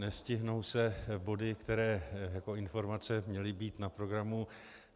Nestihnou se body, které jako informace měly být na programu.